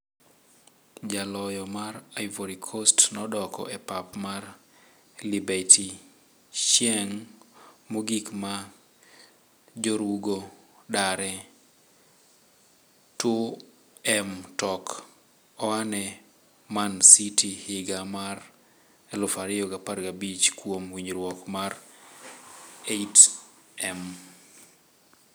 Jaloyono mar Ivory coast nodok e pap mar Libertychieng' mogik ma jorugo dare. ?2m tok aane Man City higa mar 2015 kuom winjruok mar ? 8m.